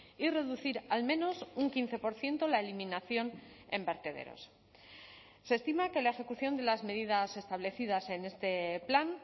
y reducir al menos un quince por ciento la eliminación en vertederos se estima que la ejecución de las medidas establecidas en este plan